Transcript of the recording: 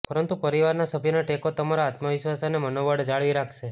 પરંતુ પરિવારના સભ્યોનો ટેકો તમારો આત્મવિશ્વાસ અને મનોબળ જાળવી રાખશે